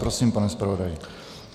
Prosím, pane zpravodaji.